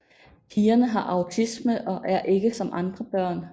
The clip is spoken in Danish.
Pigerne har autisme og er ikke som andre børn